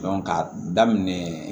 ka daminɛ